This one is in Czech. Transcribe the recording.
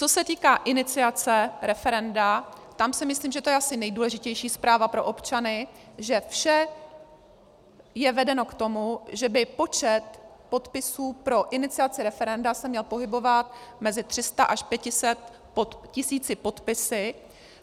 Co se týká iniciace referenda, tam si myslím, že to je asi nejdůležitější zpráva pro občany, že vše je vedeno k tomu, že by počet podpisů pro iniciaci referenda se měl pohybovat mezi 300 až 500 tisíci podpisy.